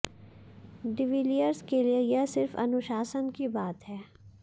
de Villiers के लिए यह सिर्फ अनुशासन की बात है